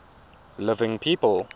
living people